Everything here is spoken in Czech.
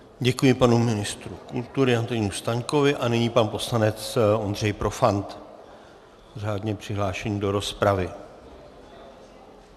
Děkuji panu ministru kultury Antonínu Staňkovi a nyní pan poslanec Ondřej Profant, řádně přihlášený do rozpravy.